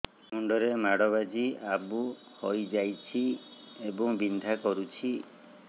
ମୁଣ୍ଡ ରେ ମାଡ ବାଜି ଆବୁ ହଇଯାଇଛି ଏବଂ ବିନ୍ଧା କରୁଛି